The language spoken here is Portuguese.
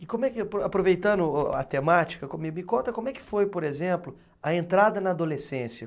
E como é que apo, aproveitando o a a temática, me conta como é que foi, por exemplo, a entrada na adolescência?